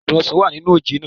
Adùn ọsàn wá à nínú oje naa